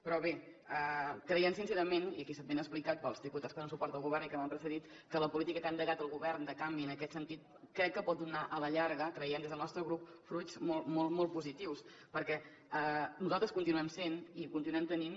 però bé creiem sincerament i aquí ha estat ben explicat pels diputats que donen suport al govern i que m’han precedit que la política que ha endegat el govern de canvi en aquest sentit crec que pot donar a la llarga creiem des del nostre grup fruits molt molt molt positius perquè nosaltres continuem sent i continuem tenint